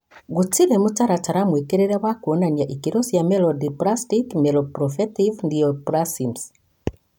Gũtirĩ mũtaratara mũĩtĩkĩrie wa kũonania ikĩro cia myelodysplastic/myeloproliferative neoplasms.